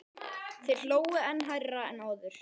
Þeir hlógu enn hærra en áður.